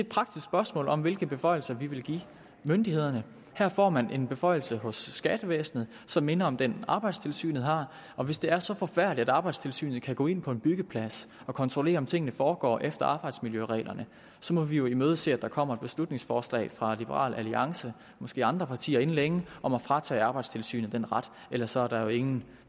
praktisk spørgsmål om hvilke beføjelser vi vil give myndighederne her får man en beføjelse hos skattevæsenet som minder om den arbejdstilsynet har og hvis det er så forfærdeligt at arbejdstilsynet kan gå ind på en byggeplads og kontrollere om tingene foregår efter arbejdsmiljøreglerne så må vi jo imødese at der kommer et beslutningsforslag fra liberal alliance og måske andre partier inden længe om at fratage arbejdstilsynet den ret ellers er der jo ingen